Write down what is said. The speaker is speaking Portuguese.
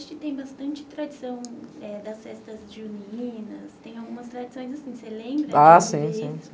Lá no Nordeste tem bastante tradição das festas juninas, tem algumas tradições assim, você lembra? Ah sim, sim, sim.